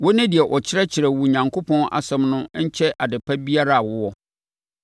Wone deɛ ɔkyerɛkyerɛ wo Onyankopɔn Asɛm no nkyɛ adepa biara a wowɔ.